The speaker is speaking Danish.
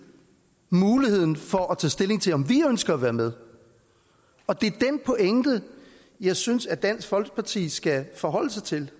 muligheden for at tage stilling til om vi ønsker at være med og det er den pointe jeg synes at dansk folkeparti skal forholde sig til